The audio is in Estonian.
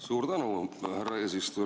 Suur tänu, härra eesistuja!